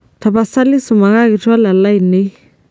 tapasali sumakaki twalan lainei